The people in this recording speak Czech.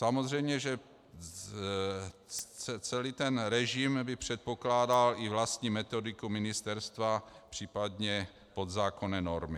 Samozřejmě že celý ten režim by předpokládal i vlastní metodiku ministerstva, případně podzákonné normy.